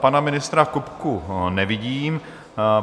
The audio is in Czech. Pana ministra Kupku nevidím.